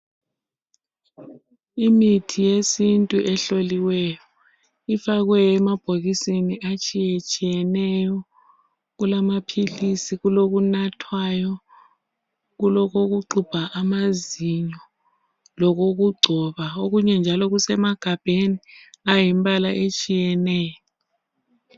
Imithi yesintu efakwe emabhokisini atshiyatshiyeneyo kulamaphilisi, kulokunathwayo, kulokokuxubha amazinyo lokokugcoba okunye njalo kusemagabheni ayimibala etshiyeneyo.